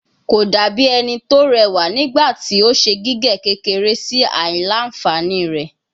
Ko dabi ẹni ti rewa nigbati o ṣe gige kekere si aila-nfani rẹ